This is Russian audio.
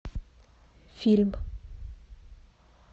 фильм